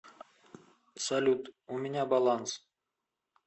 салют у меня баланс